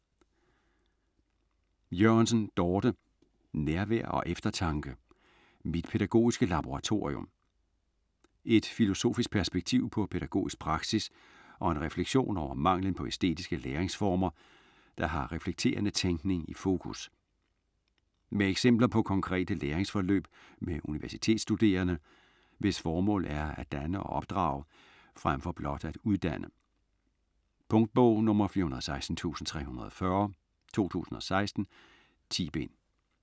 Jørgensen, Dorthe: Nærvær & eftertanke: mit pædagogiske laboratorium Et filosofisk perspektiv på pædagogisk praksis og en refleksion over manglen på æstetiske læringsformer, der har reflekterende tænkning i fokus. Med eksempler på konkrete læringsforløb med universitetsstuderende, hvis formål er at danne og opdrage frem for blot at uddanne. Punktbog 416340 2016. 10 bind.